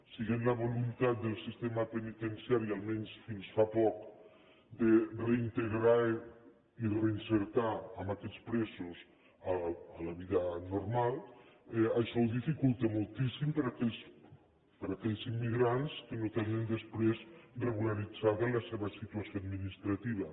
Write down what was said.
sent la voluntat del sistema penitenciari almenys fins fa poc de reintegrar i reinserir aquests presos en la vida normal això ho dificulta moltíssim per a aquells immigrants que no tenen després regularitzada la seva situació administrativa